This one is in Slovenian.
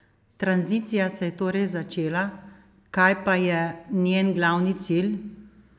Tranzicija se je torej začela, kaj pa je njen glavni cilj?